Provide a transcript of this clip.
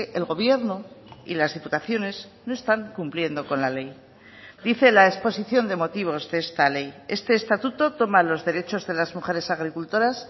el gobierno y las diputaciones no están cumpliendo con la ley dice la exposición de motivos de esta ley este estatuto toma los derechos de las mujeres agricultoras